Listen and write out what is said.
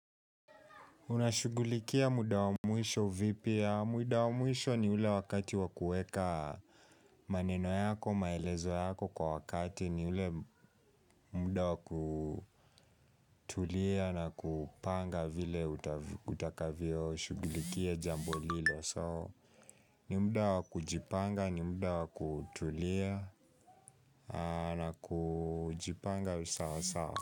Unashugulikia muda wa mwisho vipi. Muda wa mwisho ni ule wakati wa kueka maneno yako, maelezo yako kwa wakati ni ule muda wa kutulia na kupanga vile utakaviyoshugulikia jambo lilo. ''So'', ni muda wa kujipanga, ni muda wa kutulia na kujipanga usawa sawa.